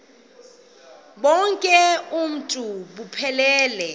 bonk uuntu buphelele